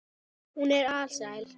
Hún er alsæl.